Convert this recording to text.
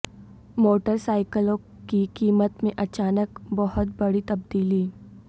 motor سائیکلوں کی قیمت میں اچانک بہت بڑی تبدیلی